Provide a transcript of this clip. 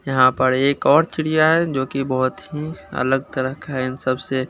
यहां पर एक और चिड़िया है जो कि बहोत ही अलग तरह का है इन सब से--